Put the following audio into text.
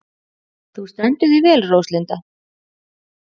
Þú stendur þig vel, Róslinda!